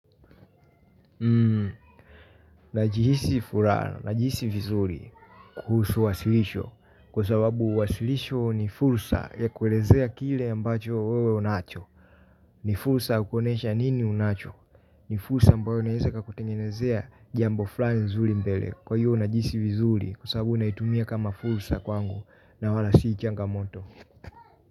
Najihisi furaha, najihisi vizuri kuhusu wasilisho. Kwa sababu wasilisho ni fulsa ya kuelezea kile ambacho wewe unacho. Ni fulsa ya kuonesha nini unacho ni fursa ambayo inaweza ikakutengenezea jambo fulani nzuri mbele kwa hiyo najihisi vizuri kwa sababu naitumia kama fursa kwangu na wala si kama changamoto.